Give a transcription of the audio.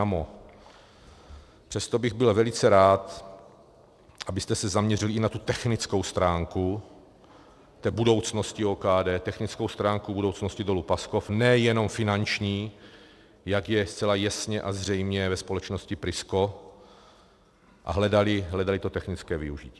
Přesto bych byl velice rád, abyste se zaměřili i na tu technickou stránku budoucnosti OKD, technickou stránku budoucnosti Dolu Paskov, ne jenom finanční, jak je zcela jasně a zřejmě ve společnosti Prisco, a hledali to technické využití.